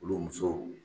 Olu musow